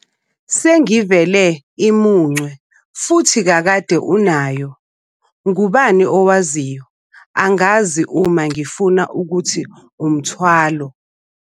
Sengivele imuncwe futhi kakade unayo ngubani owaziyo. angazi uma ngifuna ukuthi umthwalo.